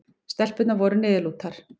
Stelpurnar voru niðurlútar.